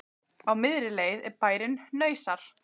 Á miðri leið er bærinn Hnausar.